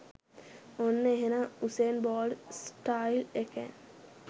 ඔන්න එහෙනම් Usain Bolt style එකෙන්